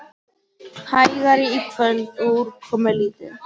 Hægari í kvöld og úrkomulítið